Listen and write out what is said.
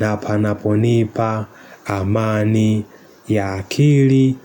na panaponipa amani ya akili.